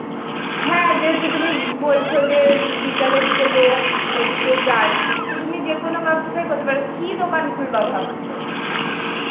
হ্যাঁ যেহেতু তুমি বলছো যে এর বিকালের দিকে লোক ওইদিকে যায়, তো তুমি যেকোনো কারো সাথে করতে পারো. কি দোকান খুলবা ভাবছো?